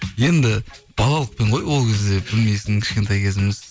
енді балалықпен ғой ол кезде білмейсің кішкентай кезіміз